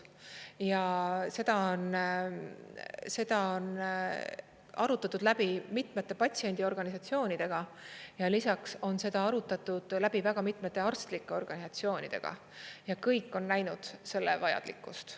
Ja seda on arutatud läbi mitmete patsiendiorganisatsioonidega ja lisaks on seda arutatud läbi väga mitmete arstlike organisatsioonidega ja kõik on näinud selle vajalikkust.